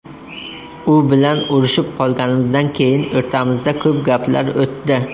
U bilan urishib qolganimizdan keyin o‘rtamizda ko‘p gaplar o‘tdi.